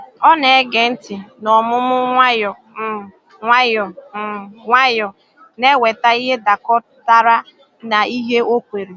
Ọ na-ege ntị n’ọmụmụ nwayọ um nwayọ, um nwayọ, na-eweta ihe dakọtara na ihe o kweere.